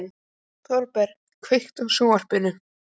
Þorberg, kveiktu á sjónvarpinu.